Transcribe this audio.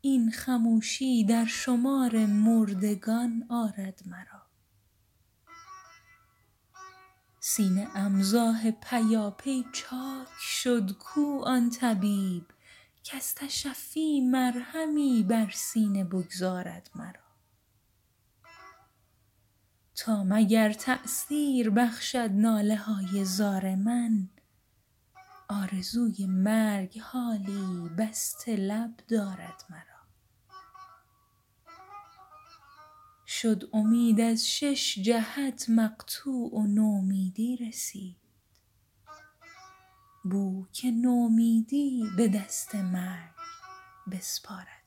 این خموشی در شمار مردگان آرد مرا سینه ام زآه پیاپی چاک شد کو آن طبیب کز تشفی مرهمی بر سینه بگذارد مرا تا مگر تأثیر بخشد ناله های زار من آرزوی مرگ حالی بسته لب دارد مرا شد امید از شش جهت مقطوع و نومیدی رسید بو که نومیدی به دست مرگ بسپارد مرا